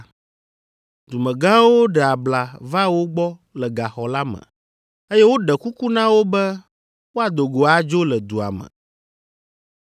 Dumegãwo ɖe abla va wo gbɔ le gaxɔ la me, eye woɖe kuku na wo be woado go adzo le dua me.